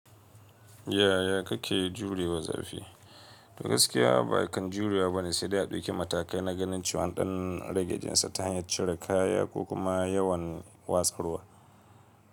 Yaya kake jurewa zafi? Gaskiya bakan jurewa bane, sai dai a ɗauki matakai na ganin cewa an ɗan ragejinsa ta hanyar cire kaya ko kuma yawan watsaruwa.